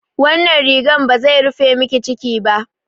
Wannan rigar ba zai rufe miki ciki ba.